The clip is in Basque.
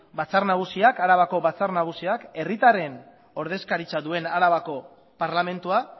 arabako batzar nagusiak herritarren ordezkaritza duen arabako parlamentuan